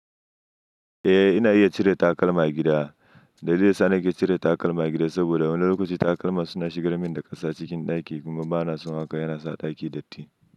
Eh ina iya cire takalma a gida. Dalilin da ya sa nake cire takalma a gida saboda wani lokaci takalma suna shigar min da ƙasa cikin ɗaki kuma bana son haka, yana sa ɗaki datti.